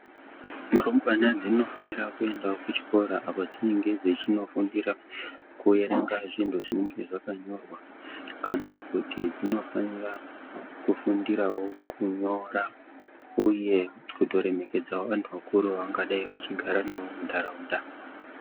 Rumbwana dzinofanirwa kuenda kuchikora apo dzinenge dzinofundira kuerenga zvinhu zvinenge zvakanyorwa kana kuti dzinofanira kufundirawo kunyora uye kuremeto kedzawo vantu vakuru vavanga dai vachigara navo muntaraunda.